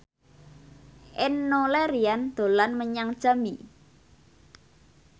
Enno Lerian dolan menyang Jambi